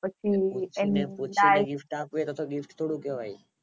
પૂછી ને gift આપીયે એ gift થોડું કેવાય